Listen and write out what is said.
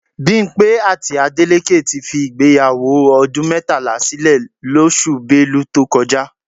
Bímpé àti Adélékè ti fi ìgbéyàwó ọdún mẹ́tàlá sílè lóṣù Belu tó kọjá